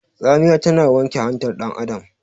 Tsamiya tana wanke hantar dan Adam